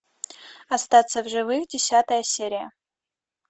остаться в живых десятая серия